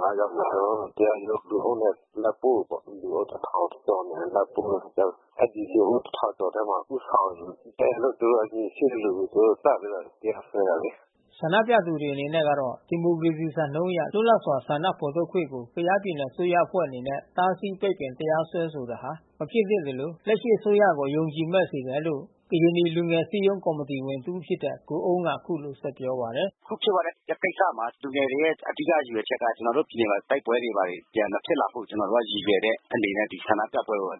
ငယ် ယောက်ကို လူအုပ်နဲ့ ကျွန်တော်တို့တရားရုံးကိုလိုက်ပို့တာပေါ့။ လူအုပ် ကျော်နဲ့လိုက်ပို့တဲ့အခါကျတော့ အဲဒီ လူထု ထဲမှာ ဦးဆောင်တယ်လို့သူတို့အမြင်ရှိသလို သူတို့တပ်ပြီးတော့တရားစွဲတယ်လေ။" ဆန္ဒပြသူတွေအနေနဲ့ကတော့ ဒီမိုကရေစီစံနှုန်းအရ လွတ်လပ်စွာဆန္ဒဖေါ်ထုတ်ခွင့်ကို ကယားပြည်နယ်အစိုးရအဖွဲ့အနေနဲ့ တားဆီး ပိတ်ပင်တရားစွဲဆိုတာဟာ မဖြစ်သင့်သလို လက်ရှိအစိုးရကို အယုံကြည်မဲ့စေတယ်လို့ ကရင်နီလူငယ်အစည်းရုံး ကော်မီတီဝင် တဦးဖြစ်တဲ့ ကိုအုန်းက အခုလိုပြောပါတယ်။ "အခုဖြစ်သွားတဲ့ကိစ္စမှာ လူငယ်တွေရဲ့အဓိကရည်ရွယ်ချက်က ကျွန်တော်တို့ပြည်နယ်မှာ တိုက်ပွဲတွေဘာတွေပြန်မဖြစ်လာဖို့ ကျွန် တော်တို့ရည်ရွယ်တဲ့အနေနဲ့ ဒီဆန္ဒပြပွဲကို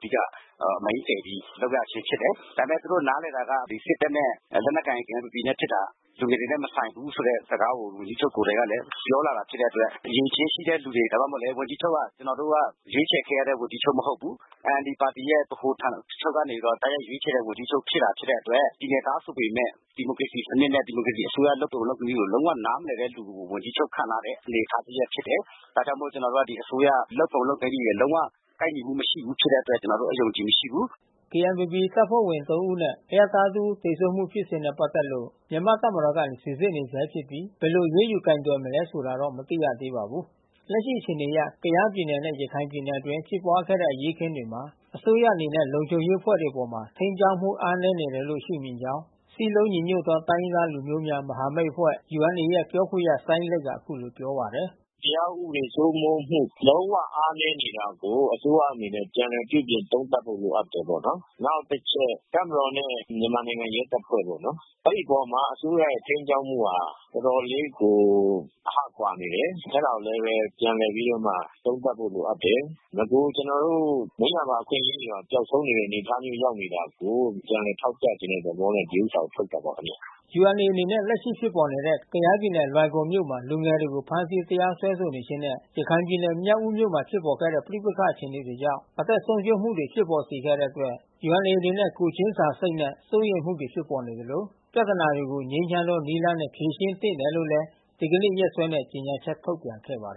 main တယ်ပြီးလုပ်ရခြင်းဖြစ်တယ်။ ဒါပေမဲ့သူတို့နားလည်တာက စစ်တပ်နဲ့လက်နက်ကိုင် KNPP ဖြစ်တာ လူငယ်တွေနဲ့မဆိုင်ဘူးဆိုတဲ့ စကားကို ဝန်ကြီးချုပ်ကိုယ်တိုင်လဲပြောလာတာဖြစ်တဲ့အတွက် အရည်အချင်းရှိတဲ့သူ ဒါမှမဟုတ်လဲ ဝန်ကြီးချုပ်က ကျွန်တော်တို့ရွေးချယ်ခဲ့တဲ့ဝန်ကြီးချုပ်မဟုတ်ဘူး။ NLDပါတီက ဗဟိုဌာနချုပ်က တိုက်ရိုက်ရွေးချယ်တဲ့ ဝန်ကြီးချုပ်ဖြစ်တယ် ဖြစ်တဲ့အတွက် ပြည်နယ်သားဆိုပေမဲ့ ဒီမိုကရေစီစနစ်နဲ့ ဒီမိုကရေစီအစိုးရလုပ်ပုံလုပ်နည်းကို လုံးဝနားမလည်တဲ့ သူကိုဝန်ကြီးချုပ်ခန့်ထားတဲ့အနေအထားတရပ်ဖြစ်တယ်။ ဒါကြောင့်မို့ကျွန်တော်တို့ဒီအစိုးရ လုပ်ပုံလုပ်နည်းတွေ လုံးဝကိုက်ညီမှု မရှိဘူးဖြစ်တဲ့အတွက် ကျွန်တော်တို့အယုံကြည်မရှိဘူး။" KNPPတပ်ဖွဲ့ဝင်သုံးဦးနဲ့ အရပ်သားတစ်ဦး သေဆုံးမှုဖြစ်စဉ်နဲ့ပက်သက်လို့ မြန်မာ့တပ်မတော်ကနေ စီစစ်နေဆဲ ဖြစ်ပြီး ဘယ်လို အရေးယူကိုယ်တွယ်မလဲဆိုတာကိုတော့ မသိရှိသေးပါဘူး။ လက်ရှိအခြေအနေအရ ကယားပြည်နယ်နဲ့ ရခိုင်ပြည်နယ်အတွင်း ဖြစ်ပွါးခဲ့တဲ့အရေးအခင်းတွေမှာ အစိုးရအနေနဲ့ လုံခြုံရေးအဖွဲ့ တွေအပေါ် ထိန်းကြောင်းမှုအားနည်းနေတယ်လို့ရှုမြင်ကြောင်း စည်းလုံးညီညွတ်သောတိုင်းရင်းသား လူမျိုးများ မဟာမိတ် UNA ပြောခွင့်ရ စိုင်းလိတ်ကအခုလိုပြောပါတယ်။ "တရားဥပဒေစိုးမိုးမှုလုံးဝအားနည်းနေတာကို အစိုးရအနေနဲ့ပြန်လည်ပြုပြင်သုံးသပ်ဖို့လိုအပ်တယ်ပေါ့နော်။ နောက်တချက် တပ်မတော်နဲ့မြန်မာနိုင်ငံရဲတပ်ဖွဲ့ပေါ့နော်။ အဲဒီအပေါ်မှာအစိုးရရဲ့ထိန်းကြောင်းမှုဟာ တော်တော်လေးကို အဟကွာနေတယ်။ အဲတာကို လဲဘဲပြန်လည်ပြီးတော့ သုံးသပ်ဖို့လိုအပ်တယ်။ နဂိုလ်ကျွန်တော်တို့မွေးရာပါအခွင့်အရေးတွေပါ ပျောက်ဆုံးနေတဲ့ အနေအထား မျိုးရောက်နေတာကို ပြန်လည်ထောက်ပြချင်တဲ့သဘောနဲ့ ဒီဥစ္စာကိုထုတ်တာပါခင်ဗျာ။" UNA အနေနဲ့ လက်ရှိဖြစ်ပေါ်နေတဲ့ ကယားပြည်နယ် လွိုင်ကော်မြို့မှာလူငယ်တွေကို ဖမ်းဆီးတရားစွဲဆိုနေခြင်းနှင့် ရခိုင်ပြည်နယ် မြောက်ဦးမြို့နယ်မှာဖြစ်ပေါ်ခဲ့တဲ့ပဋိပက္ခအခြေအနေတွေကြောင့် အသက်ဆုံးရှုံးမှုများဖြစ်ပေါ်စေခဲ့တဲ့အတွက် UNA အနေနဲ့ ကိုယ် ချင်း စာစိတ်ဖြင့် စိုးရိမ်မှုတွေဖြစ်ပေါ်နေသလို ပြဿနာတွေကို ငြိမ်းချမ်းသောနည်းလမ်းတွေနဲ့ ဖြေရှင်းသင့်တယ်လို့လဲ ဒီကနေ့ နေ့စွဲနဲ့ ကြေညာချက်ထုတ်ပြန်ခဲ့ပါတယ်